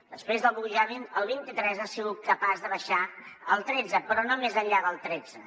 després de pujar al vint i tres ha sigut capaç de baixar al tretze però no més enllà del tretze